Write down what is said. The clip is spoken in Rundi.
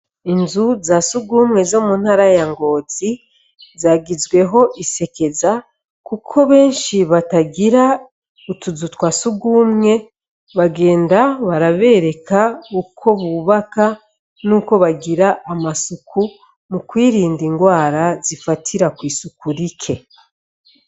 Inzu za sugumwe zo muntara ya ngozi zagizweho isekeza, kuko benshi batagira utuzu twa sugumwe bagenda barabereka uko bubaka nuko bagira amasuku mu kwirinda indwara zifatira kw'isuku rike.